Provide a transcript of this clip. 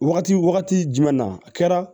Wagati wagati jumɛn na a kɛra